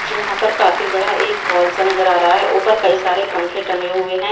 यहां पर काफी बड़ा एक हॉल सा नजर आ रहा है ऊपर कई सारे पंखे टंगे हुए हैं।